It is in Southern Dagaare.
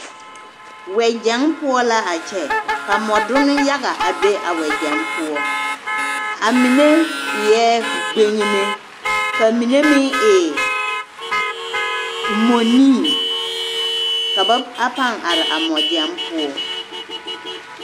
Wɛgyɛŋ poɔ la a kyɛ ka wɛdonne yaga a be a wɛgyɛŋ poɔ amine eɛ gbeŋime, ka mine meŋ e mɔnii ka ba a pãã are a wɛgyɛŋ poɔ.